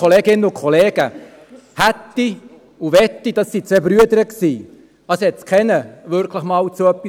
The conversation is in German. Keiner brachte es wirklich jemals zu etwas.